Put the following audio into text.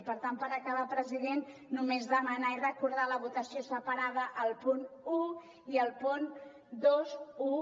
i per tant per acabar president només demanar i recordar la votació separada al punt un i al punt vint un